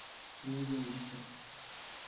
не вместе